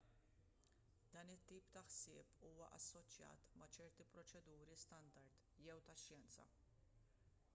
dan it-tip ta' ħsieb huwa assoċjat ma' ċerti proċeduri standard jew tax-xjenza